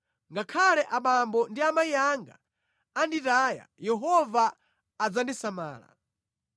Ngakhale abambo ndi amayi anga anditaya Yehova adzandisamala.